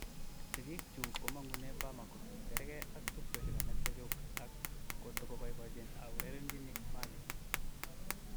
Sigik chuk komangune Bamako, kerge ak tupchosiek alak chechuk, ak kotoboibochin a urerenjin Mali.